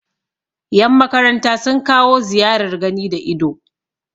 yanmakaranta sun kawo ziyarar gani da ido